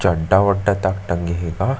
चड्डा-वड्डा तक टंगे हे गा --